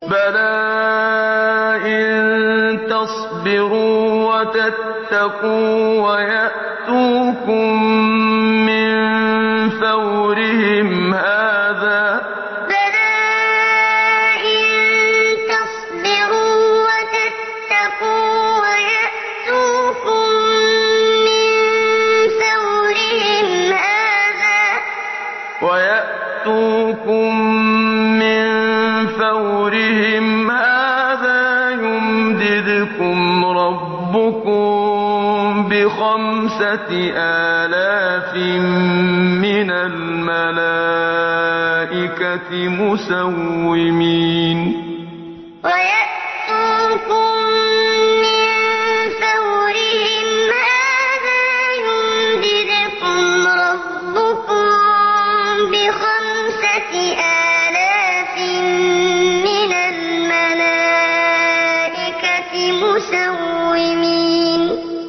بَلَىٰ ۚ إِن تَصْبِرُوا وَتَتَّقُوا وَيَأْتُوكُم مِّن فَوْرِهِمْ هَٰذَا يُمْدِدْكُمْ رَبُّكُم بِخَمْسَةِ آلَافٍ مِّنَ الْمَلَائِكَةِ مُسَوِّمِينَ بَلَىٰ ۚ إِن تَصْبِرُوا وَتَتَّقُوا وَيَأْتُوكُم مِّن فَوْرِهِمْ هَٰذَا يُمْدِدْكُمْ رَبُّكُم بِخَمْسَةِ آلَافٍ مِّنَ الْمَلَائِكَةِ مُسَوِّمِينَ